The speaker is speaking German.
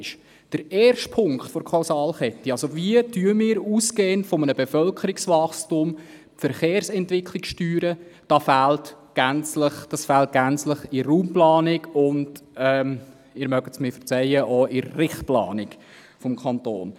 Der erste Punkt der Kausalkette, also wie wir ausgehend von einem Bevölkerungswachstum die Verkehrsentwicklung steuern, fehlt in der Raumplanung gänzlich und – Sie mögen es mir verzeihen – auch in der Richtplanung des Kantons.